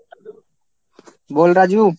বল Raju.